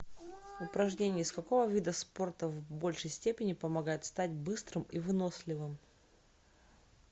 упражнения из какого вида спорта в большей степени помогают стать быстрым и выносливым